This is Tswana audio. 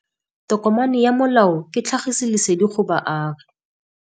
Tokomane ya molao ke tlhagisi lesedi go baagi.